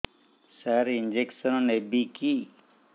ସାର injection ନେବିକି